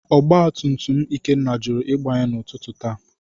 Ọgba tum tum Ikenna jụrụ Ịgbanye n’ụtụtụ taa.